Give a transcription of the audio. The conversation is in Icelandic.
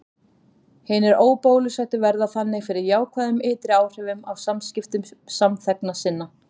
Hinir óbólusettu verða þannig fyrir jákvæðum ytri áhrifum af samskiptum samþegna sinna.